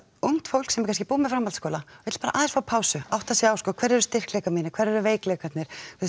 ungt fólk sem er kannski búið með framhaldsskóla vill bara aðeins fá pásu átta sig á hverjir eru styrkleikar mínir og hverjir eru veikleikarnir